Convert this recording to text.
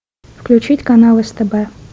включить канал стб